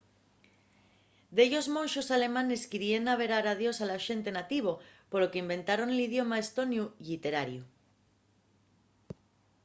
dellos monxos alemanes queríen averar a dios a la xente nativo polo qu’inventaron l’idioma estoniu lliterariu